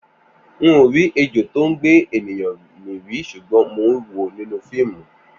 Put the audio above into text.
N ò rí ejò tó lè gbé ènìyàn mì rí ṣùgbọ́n mo wòó nínú fíìmù